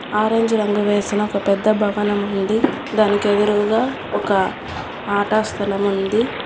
Orange రంగు వేసిన ఒక పెద్ద భవనముంది దానికి ఎదురుగా ఒక ఆటా స్థలం ఉంది.